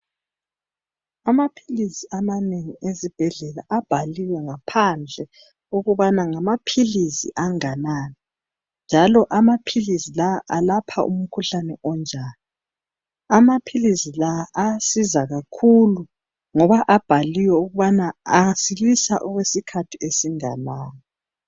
Amaphilisi amanengi ezibhedlela abhaliwe ngaphandle ukubana ngamaphilisi anganani njalo amaphilisi la alapha umkhuhlane onjani amaphilisi la ayasiza kakhulu ngoba abhaliwe ukubana asilisa okwesikhathi esinganani